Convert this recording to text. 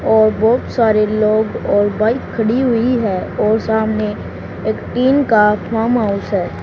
और बहुत सारे लोग और बाइक खड़ी हुई है और सामने एक टीम का फार्म हाउस है।